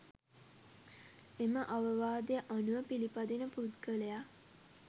එම අවවාදය අනුව පිළිපදින පුද්ගලයා